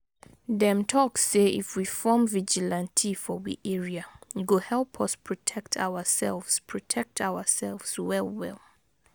Dem talk say if we form vigilante for we area, e go help us protect ourselves protect ourselves well well.